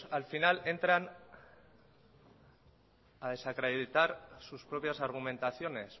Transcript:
al final entran a desacreditar sus propias argumentaciones